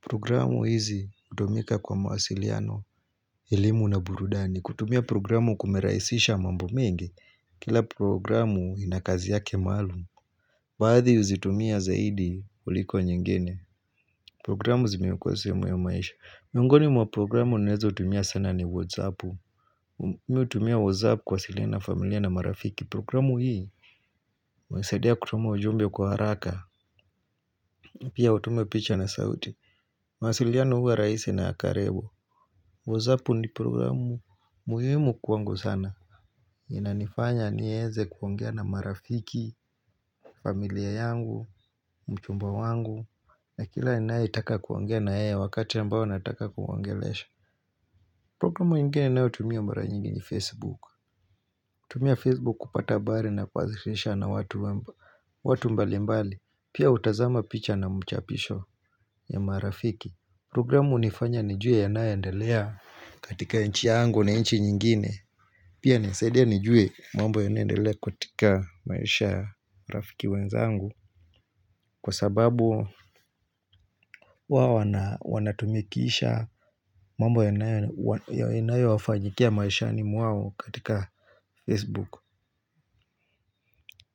Programu hizi kutumika kwa mawasiliano, elimu na burudani. Kutumia programu kumerahisisha mambo mengi. Kila programu ina kazi yake maalum. Baadhi huzitumia zaidi kuliko nyingine. Programu zimekua sehemu ya maisha. Miongoni mwa programu ninazo tumia sana ni Whatsappu. Mimi hutumia Whatsappu kuwasiliana na familia na marafiki. Programu hii. Hunisaidia kutuma ujumbe kwa haraka Pia utume picha na sauti. Masiliano huwa rahisi na ya karibu. Wozapu ni programu muhimu kwangu sana Inanifanya niweze kuongea na marafiki familia yangu, mchumba wangu na kila ninayetaka kuongea na yeye wakati mbao nataka kuongelesha Programu ingine ninayotumia mbara nyingi ni facebook. Natumia facebook kupata habari na kuwasiliana na watu watu mbali mbali Pia hutazama picha na mchapisho ya marafiki Programu hunifanya nijue yanayoendelea katika inchi yangu na inchi nyingine Pia inanisaidia nijue mambo yanendelea katika maisha ya rafiki wenzangu Kwa sababu wao wanatumikisha mambo yanayo wafanyikia maishani mwao katika facebook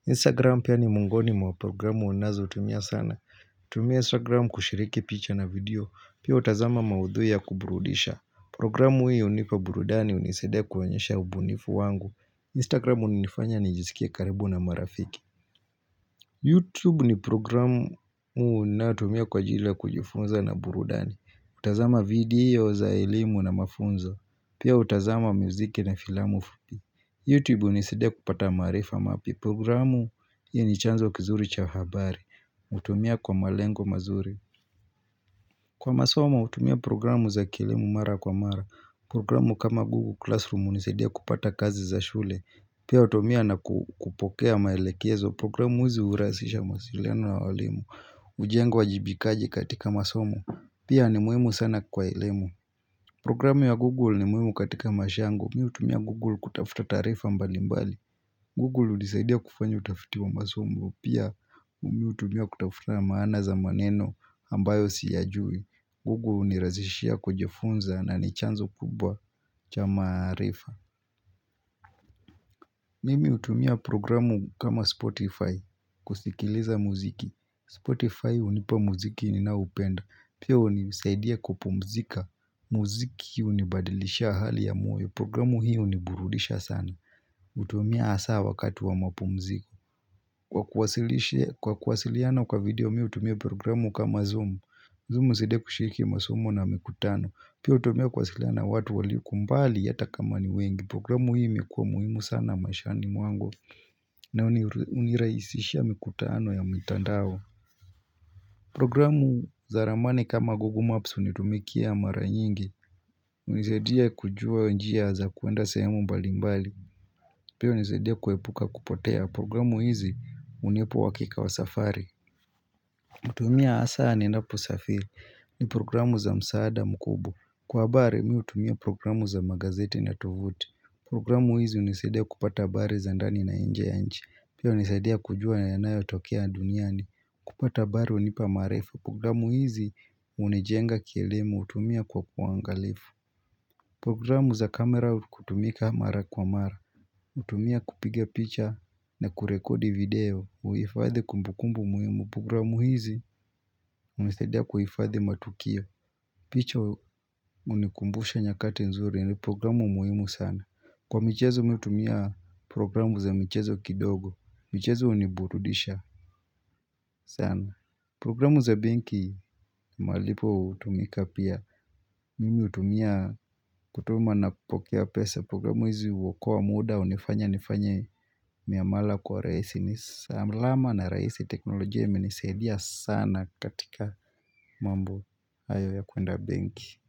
Instagram pia ni miongoni mwa programu ninazo tumia sana. Natumia Instagram kushiriki picha na video Pia hutazama maudhui ya kuburudisha. Programu hio hunipa burudani hunisaidia kuonyesha ubunifu wangu Instagram unifanya nijisikie karibu na marafiki YouTube ni programu ninayotumia kwa jila kujifunza na burudani, kutazama video za elimu na mafunzo Pia hutazama muziki na filamu fupi YouTube hunisaidia kupata maarifa mapya Programu hii ni chanzo kizuri cha habari utumia kwa malengo mazuri Kwa masomo hutumia programu za kielimu mara kwa mara. Programu kama Google Classroom hunisaidia kupata kazi za shule. Pia hutumia na kupokea maelekezo. Programu hizi hurahisisha mawasiliano na walimu. Ujengo wajibikaji katika masomo. Pia ni muhimu sana kwa elemu. Programu ya Google ni muhimu katika maisha yangu. Mimi hutumia Google kutafuta taarifa mbali mbali. Google hudisaidia kufanya utafiti wa masomo. Pia hutumiwa kutafuta maana za maneno ambayo siyajui. Google hunirahishia kujifunza na ni chanzo kubwa cha maarifa. Mimi hutumia programu kama Spotify kusikiliza muziki. Spotify hunipa muziki ninaoupenda. Pia hunisaidia kupumzika. Mziki hunibadilishia hali ya moyo. Programu hii huniburudisha sana. Hutumia hasaa wakati wa mapumziko. Kwa kuwasiliana kwa video mimi hutumia programu kama Zoom. Zoom husaidia kushiriki masomo na mikutano. Pia hutumia kuwasiliana na watu walioko mbali hata kama ni wengi. Programu hii imekuwa muhimu sana maishani mwangu na hunirahisishia mikutano ya mitandao Programu za ramani kama Google Maps hunitumikia mara nyingi hunisadia kujua njia za kuenda sehemu mbali mbali Pia hunisaidia kuepuka kupotea Programu hizi hunipu uhakika wa safari hutumia hasaa ninapo safiri ni programu za msaada mkubwa. Kwa habari mimi hutumia programu za magazeti na tuvuti. Programu hizi hunisaidia kupata habari za ndani na inje ya nchi. Pia hunisaidia kujua yanayotokea duniani kupata habari hunipa marifa. Programu hizi hunijenga kielemu hutumia kwa uangalifu. Programu za kamera hutumika mara kwa mara. Hutumia kupiga picha na kurekodi video, kuhifadhi kumbukumbu muhimu, programu hizi hunisaidia kuhifadhi matukio. Picha hunikumbusha nyakati nzuri ni programu muhimu sana Kwa michezo mimi hutumia programu za michezo kidogo, michezo uniburudisha sana Programu za benki malipo hutumika pia. Mimi hutumia kutuma na kupokea pesa programu hizi huokoa muda. Hunifanya nifanye miamala kwa uraisi. Ni salama na rahisi. Teknolojia imenisaidia sana katika mambo hayo ya kuenda benki.